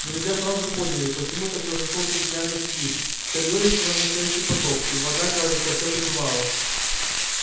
друзья сразу поняли почему так разошёлся бедняга сквиб в коридоре стоял настоящий потоп и вода кажется всё прибывала